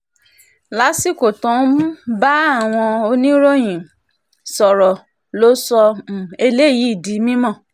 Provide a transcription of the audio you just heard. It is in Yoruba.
lásìkò tó ń um bá àwọn oníròyìn sọ̀rọ̀ ló sọ um eléyìí di mímọ́